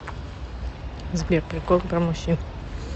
сбер приколы про мужчин